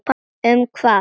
Um hvað?